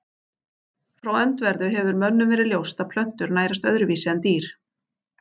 Frá öndverðu hefur mönnum verið ljóst að plöntur nærast öðruvísi en dýr.